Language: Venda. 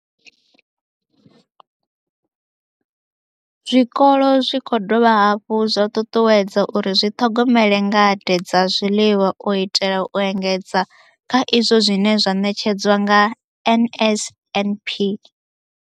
Zwikolo zwi khou dovha hafhu zwa ṱuṱuwedzwa uri zwi ḓithomele ngade dza zwiḽiwa u itela u engedza kha izwo zwine zwa ṋetshedzwa nga NSNP.